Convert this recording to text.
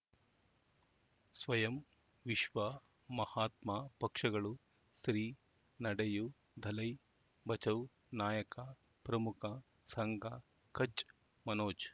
ಸ್ವಯಂ ವಿಶ್ವ ಮಹಾತ್ಮ ಪಕ್ಷಗಳು ಶ್ರೀ ನಡೆಯೂ ದಲೈ ಬಚೌ ನಾಯಕ ಪ್ರಮುಖ ಸಂಘ ಕಚ್ ಮನೋಜ್